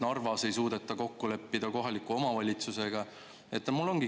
Narvas ei suudeta kokku leppida kohaliku omavalitsusega.